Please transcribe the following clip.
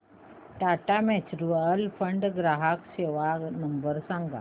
Tata mutual fund ग्राहक सेवा number सांगा